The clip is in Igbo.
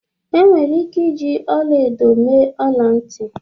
Enwere ike iji ọla edo mee ọla ntị